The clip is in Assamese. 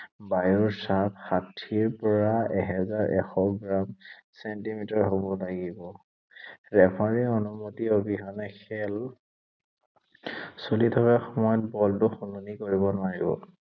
বায়ুৰ চাপ ষাঠীৰ পৰা এহেজাৰ এশ গ্ৰাম, ছেণ্টিমিটাৰ হʼব লাগিব। ৰেফাৰীৰ অনুমতি অবিহনে খেল চলি থকা সময়ত বলটো সলনি কৰিব নোৱাৰিব।